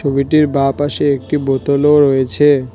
ছবিটির বাঁপাশে একটি বোতল ও রয়েছে।